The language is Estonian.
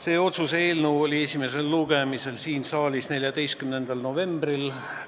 See otsuse eelnõu oli esimesel lugemisel siin saalis 14. novembril.